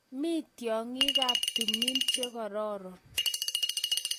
mi tyongikap tumin chekororon